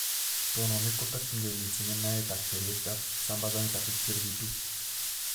Tononet kotakyingei mising en naet ak teret ab sambazanet ab HTLV 2